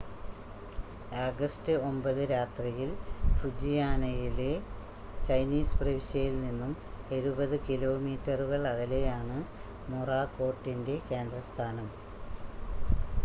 August 9 രാത്രിയിൽ ഫ്യൂജിയാനയിലെ Chinese പ്രവിശ്യയിൽ നിന്നും എഴുപത് കിലോമീറ്ററുകൾ അകലെയാണ് മൊറാക്കോട്ടിൻ്റെ കേന്ദ്രസ്ഥാനം